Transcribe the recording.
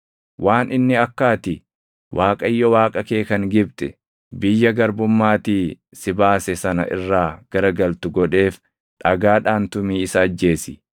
Waan inni akka ati Waaqayyo Waaqa kee kan Gibxi, biyya garbummaatii si baase sana irraa garagaltu godheef dhagaadhaan tumii isa ajjeesi.